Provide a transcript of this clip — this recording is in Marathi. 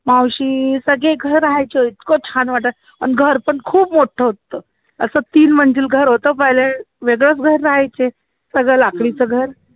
मावशी सगळे घर राहायचं इतकं छान वाटायचं घर पण खूप मोठं होतं असं तीन घर होत पहिले वेगळंच घर राहायचे सगळं लाकडीचं घर